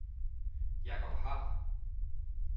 Jacob Haahr